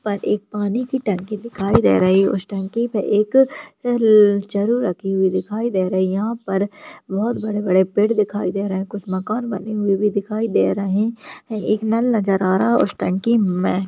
ऊपर पानी की टंकी दिखाई दे रही है उस टंकी पे एक चरु रखी हुई दिखाई दे रही है यहाँ पर बहुत बड़े-बड़े पेड़ दिखाई दे रहे है कुछ मकान बने हुए भी दिखाई दे रहे है एक नल नजर आ रहा है उस टंकी में --